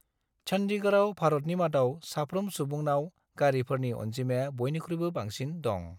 चन्डीगढ़आव भारतनि मादाव साफ्रोम सुबुंनाव गारिफोरनि अनजिमाया बयनिख्रुयबो बांसिन दं।